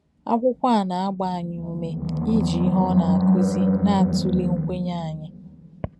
Akwụkwọ a na-agba anyị ume iji ihe ọ na-akụzi na-atụle nkwenye anyị.